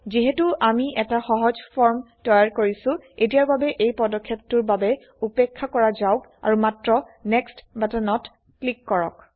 যিহেতু আমি এটা সহজ ফৰ্ম তৈয়াৰ কৰিছো এতিয়াৰ বাবে এই পদক্ষেপটোৰ বাবে উপেক্ষা কৰা যাওক আৰু মাত্ৰ নেক্সট বাটনত ক্লিক কৰক